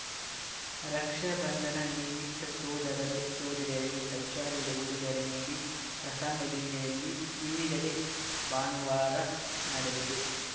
ರಕ್ಷಾ ಬಂಧನ ನಿಮಿತ್ತ ಸಹೋದರರು ಸಹೋದರಿಯರಿಗೆ ಶೌಚಾಲಯದ ಉಡುಗೊರೆ ನೀಡಿ ಪ್ರಸಂಗ ಜಿಲ್ಲೆಯಲ್ಲಿ ವಿವಿಧೆಡೆ ಭಾನುವಾರ ನಡೆದಿದೆ